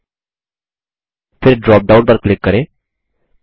फिर ड्रॉपडाउन पर क्लिक करें